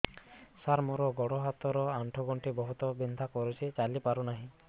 ସାର ମୋର ଗୋଡ ହାତ ର ଆଣ୍ଠୁ ଗଣ୍ଠି ବହୁତ ବିନ୍ଧା କରୁଛି ଚାଲି ପାରୁନାହିଁ